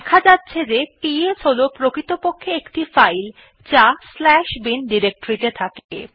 দেখা যাচ্ছে যে পিএস হল প্রকৃতপক্ষে একটি ফাইল যা bin ডিরেক্টরীতে থাকে